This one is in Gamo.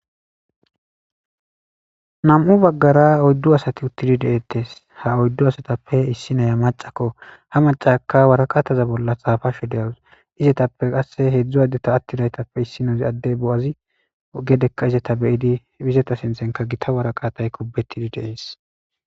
Nam'u baggara oyddu asati uttidi deeettes ha oyddu asatappe issi naya macako ha macaka waraqataza bolla xaafashe deyawus izetappe qasse heedzdzu addeta attidaytappe issinozi adde bo7azi gedekka izeta beyidi bizeta sinthenka gita waraqatay kubbetidi deees